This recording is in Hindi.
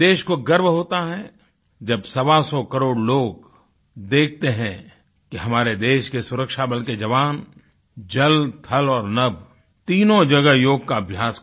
देश को गर्व होता है जब सवासौ करोड़ लोग देखते हैं कि हमारे देश के सुरक्षा बल के जवान जलथल और नभ तीनों जगह योग का अभ्यास किया